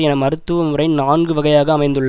என மருத்துவமுறை நான்கு வகையாக அமைந்துள்ள